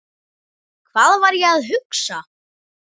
Hvað var ég að hugsa?